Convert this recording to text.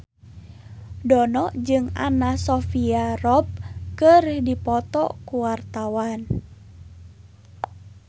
Dono jeung Anna Sophia Robb keur dipoto ku wartawan